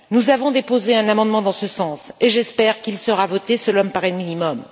Nous avons déposé un amendement en ce sens et j'espère qu'il sera voté, cela me paraît le minimum.